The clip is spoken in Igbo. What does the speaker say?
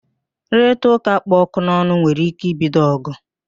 Nrụrịtaụ́ká kpụ ọkụ n'ọnụ nwere ike ibido ọ̀gụ̀